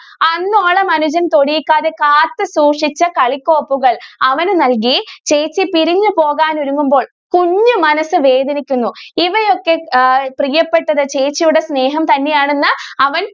അന്നോളം അനുജനെ തൊടിക്കാതെ കാത്തു സൂക്ഷിച്ച കളിക്കോപ്പുകൾ അവനു നൽകി ചേച്ചി പിരിഞ്ഞു പോകാൻ ഒരുങ്ങുമ്പോൾ കുഞ്ഞു മനസ്സ് വേദനിക്കുന്നു ഇവയൊക്കെ എഹ് പ്രിയപ്പെട്ട ഒരു ചേച്ചിയുടെ സ്നേഹം തന്നെ ആണെന്ന് അവൻ.